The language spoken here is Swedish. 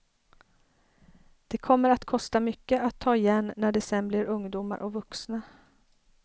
Det kommer att kosta mycket att ta igen när de sen blir ungdomar och vuxna.